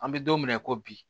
An bɛ don mina i ko bi